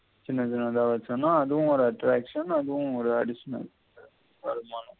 திண்றதுக்கு எதாவது வெச்சன்னா அதுவும் ஒரு attraction அதும் ஒரு editional